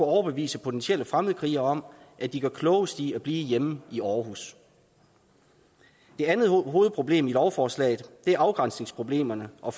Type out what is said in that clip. overbevise potentielle fremmedkrigere om at de gør klogest i at blive hjemme i aarhus det andet hovedproblem i lovforslaget er afgrænsningsproblemerne og